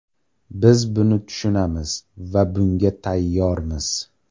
Biz buni tushunamiz va bunga tayyormiz.